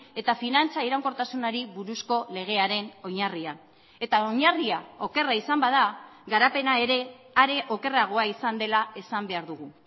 eta finantza iraunkortasunari buruzko legearen oinarria eta oinarria okerra izan bada garapena ere are okerragoa izan dela esan behar dugu